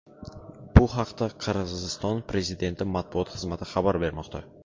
Bu haqda Qirg‘iziston prezidenti matbuot xizmati xabar bermoqda .